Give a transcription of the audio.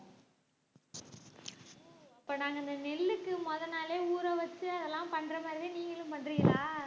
ஓ அப்ப நாங்க இந்த நெல்லுக்கு முதல் நாளே ஊறவச்சு அதெல்லாம் பண்றமாதிரி தான் நீங்களும் பண்றிங்களா